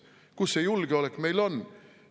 Kus see julgeolek meil on?